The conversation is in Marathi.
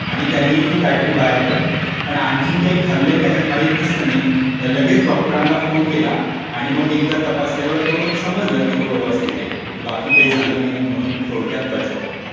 आणि त्याने ती बॅटरी बाहेर पडली. पण आणखीन काही खाल्लंय का माहीत नसल्याने लगेच डॉक्टरना फोन केला आणि मग एकदा तपासल्यावर ते समजलं व्यवस्थित आहे, बाकी काही झालं नाही म्हणून थोडक्यात बचावला.